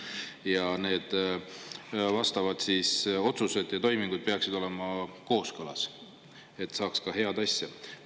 Ja need vastavad otsused ja toimingud peaksid olema kooskõlas, et saaks ka head asja.